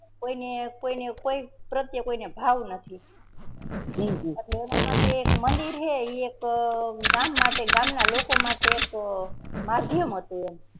કોઈ ને કોઈ ને પ્રેત્ય કોઈને ભાવ નથી એના માટે એક મંદિર હૈ એક ગામ માટે ગામ ના લોકો માટે એક માધ્યમ હતું એમ